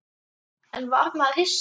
En var maður hissa?